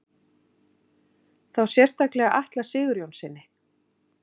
Þá sérstaklega Atla Sigurjónssyni?